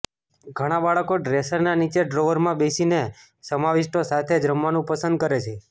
ઘણાં બાળકો ડ્રેસરના નીચેનાં ડ્રોવરમાં બેસીને સમાવિષ્ટો સાથે જ રમવાનું પસંદ કરે છે